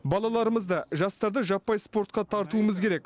балаларымызды жастарды жаппай спортқа тартуымыз керек